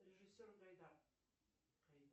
режиссер гайдар